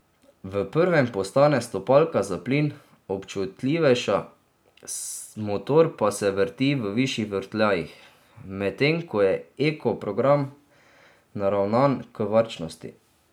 V prvem postane stopalka za plin občutljivejša, motor pa se vrti v višjih vrtljajih, medtem ko je eko program naravnan k varčnosti.